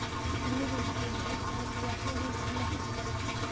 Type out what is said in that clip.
Shinnidu waxay jeceshahay ubaxyo midab leh.